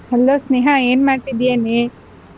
Hello Sneha ಏನ್ ಮಾಡ್ತೀಯೇನೆ?